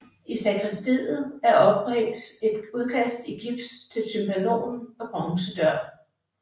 I sakristiet er ophængt et udkast i gips til tympanon og bronzedør